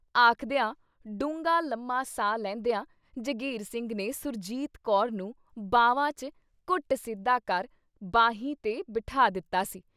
ਆਖਦਿਆਂ ਡੂੰਘਾ ਲੰਮਾ ਸਾਹ ਲੈਂਦਿਆਂ ਜਗੀਰ ਸਿੰਘ ਨੇ, ਸੁਰਜੀਤ ਕੌਰ ਨੂੰ ਬਾਹਵਾਂ ਚ ਘੁੱਟ ਸਿੱਧਾ ਕਰ ਬਾਹੀ ਤੇ ਬਿਠਾ ਦਿੱਤਾ ਸੀ।